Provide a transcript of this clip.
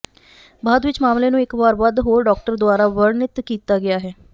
ਬਾਅਦ ਵਿਚ ਮਾਮਲੇ ਨੂੰ ਇਕ ਵਾਰ ਵੱਧ ਹੋਰ ਡਾਕਟਰ ਦੁਆਰਾ ਵਰਣਿਤ ਕੀਤਾ ਗਿਆ ਹੈ